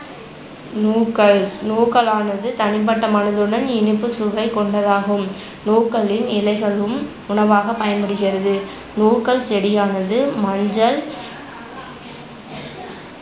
நூக்கள் நூக்களானது தனிப்பட்ட மணத்துடன் இனிப்பு சுவைக்கொண்டதாகும். நூக்களின் இலைகளும் உணவாகப் பயன்படுகிறது. நூக்கள் செடியானது மஞ்சள்